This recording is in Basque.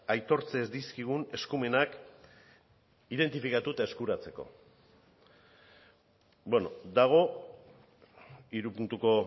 aitortzen dizkigun eskumenak identifikatu eta eskuratzeko bueno badago hiru puntuko